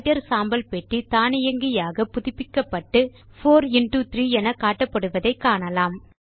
writer சாம்பல் பெட்டி தானியங்கியாக புதுப்பிக்கப்பட்டு 4 இன்டோ 3 என காட்டப்படுவதை காணலாம்